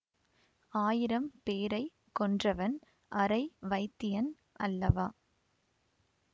ஆயிரம் பேரை கொன்றவன் அரை வைத்தியன் அல்லவா